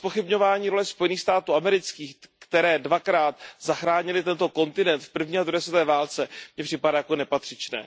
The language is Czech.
A vaše zpochybňování role Spojených států amerických, které dvakrát zachránily tento kontinent v první a druhé světové válce, mně připadá jako nepatřičné.